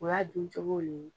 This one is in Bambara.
O y'a dun cogo le ye.